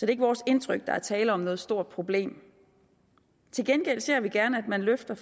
er ikke vores indtryk at der er tale om noget stort problem til gengæld ser vi gerne at man løfter